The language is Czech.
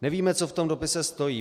Nevíme, co v tom dopise stojí.